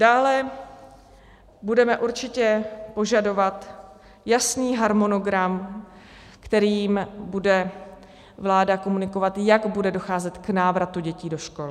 Dále budeme určitě požadovat jasný harmonogram, kterým bude vláda komunikovat, jak bude docházet k návratu dětí do škol.